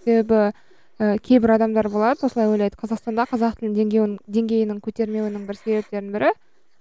себебі ііі кейбір адамдар болады осылай ойлайды қазақстанда қазақ тілінің деңгейін деңгейінің көтермеуінің бір себептерінің бірі